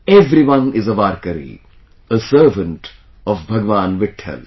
Everyone is a Varkari, a servant of Bhagwan Vitthal